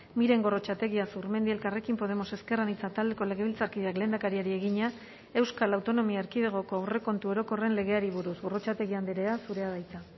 miren gorrotxategi azurmendi elkarrekin podemos ezker anitza taldeko legebiltzarkideak lehendakariari egina euskal autonomia erkidegoko aurrekontu orokorren legeari buruz gorrotxategi andrea zurea da hitza